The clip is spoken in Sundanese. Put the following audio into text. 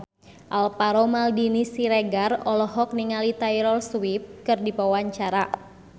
Alvaro Maldini Siregar olohok ningali Taylor Swift keur diwawancara